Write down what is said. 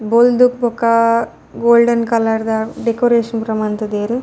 ಬೊಲ್ದು ಬೊಕ ಗೋಲ್ಡೆನ್ ಕಲರ್ದ ಡೆಕೊರೇಷನ್ ಪೂರ ಮಂತುದೆರ್.